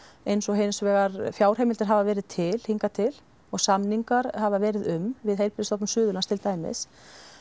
eins og hins vegar fjárheimildir hafa verið til hingað til og samningar hafa verið um við Heilbrigðisstofnun Suðurlands til dæmis